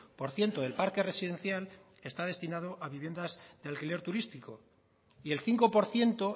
por ciento del parque residencial está destinado a viviendas de alquiler turístico y el cinco por ciento